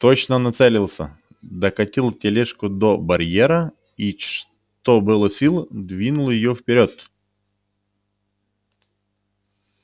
точно нацелился докатил тележку до барьера и что было сил двинул её вперёд